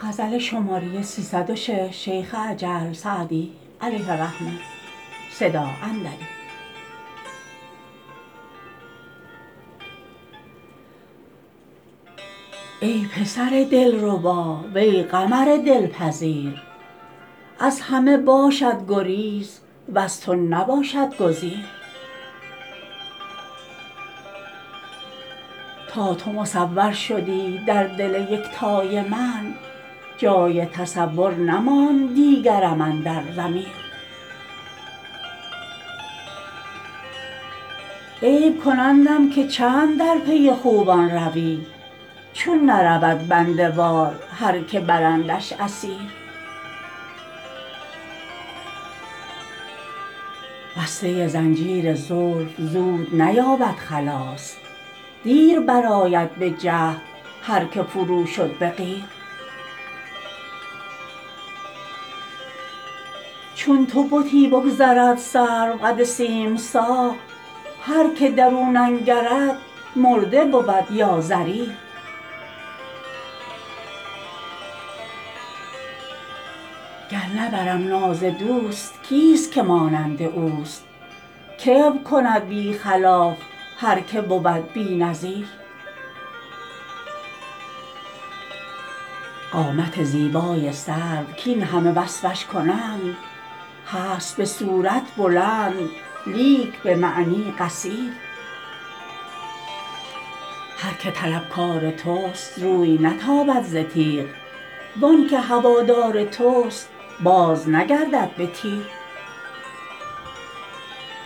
ای پسر دلربا وی قمر دلپذیر از همه باشد گریز وز تو نباشد گزیر تا تو مصور شدی در دل یکتای من جای تصور نماند دیگرم اندر ضمیر عیب کنندم که چند در پی خوبان روی چون نرود بنده وار هر که برندش اسیر بسته زنجیر زلف زود نیابد خلاص دیر برآید به جهد هر که فرو شد به قیر چون تو بتی بگذرد سروقد سیم ساق هر که در او ننگرد مرده بود یا ضریر گر نبرم ناز دوست کیست که مانند اوست کبر کند بی خلاف هر که بود بی نظیر قامت زیبای سرو کاین همه وصفش کنند هست به صورت بلند لیک به معنی قصیر هر که طلبکار توست روی نتابد ز تیغ وان که هوادار توست بازنگردد به تیر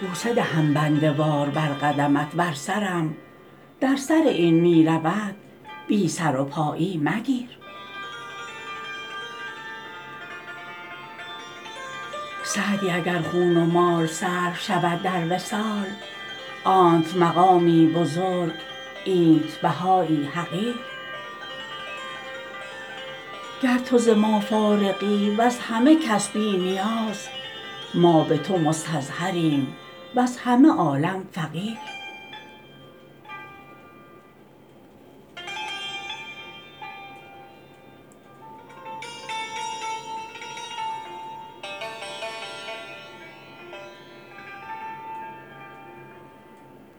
بوسه دهم بنده وار بر قدمت ور سرم در سر این می رود بی سر و پایی مگیر سعدی اگر خون و مال صرف شود در وصال آنت مقامی بزرگ اینت بهایی حقیر گر تو ز ما فارغی وز همه کس بی نیاز ما به تو مستظهریم وز همه عالم فقیر